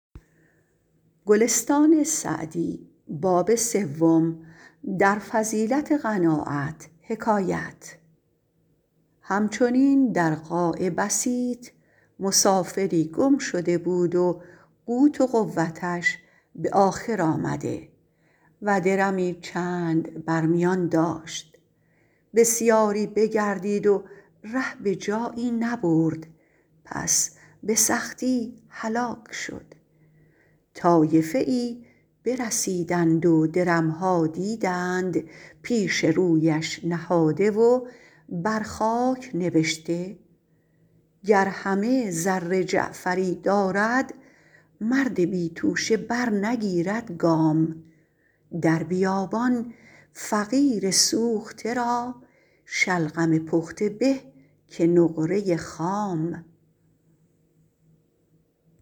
هم چنین در قاع بسیط مسافری گم شده بود و قوت و قوتش به آخر آمده و درمی چند بر میان داشت بسیاری بگردید و ره به جایی نبرد پس به سختی هلاک شد طایفه ای برسیدند و درم ها دیدند پیش رویش نهاده و بر خاک نبشته گر همه زر جعفری دارد مرد بی توشه برنگیرد گام در بیابان فقیر سوخته را شلغم پخته به که نقره خام